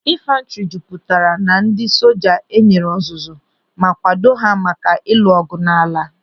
Infantri jupụtara na ndị soja enyere ọzụzụ ma kwado ha maka ịlụ ọgụ n'ala.